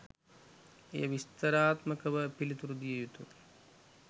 එය විස්තරාත්මකව පිළිතුරු දිය යුතු